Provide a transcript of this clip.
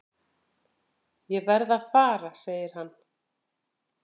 Ég verð að fara segir hann.